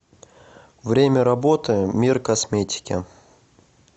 время работы мир косметики